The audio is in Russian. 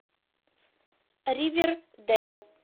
ривердэйл